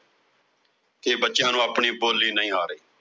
ਕਿ ਬੱਚਿਆਂ ਨੂੰ ਆਪਣੀ ਬੋਲੀ ਨਹੀਂ ਆ ਰਹੀ।